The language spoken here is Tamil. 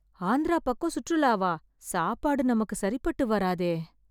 ஆந்திரா பக்கம் சுற்றுலாவா... சாப்பாடு நமக்கு சரிப்பட்டு வராதே...